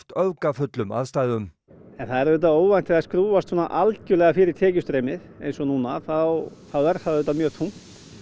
öfgafullum aðstæðum en það er auðvitað óvænt þegar skrúfast svona algerlega fyrir tekjustreymið þá er það auðvitað mjög þungt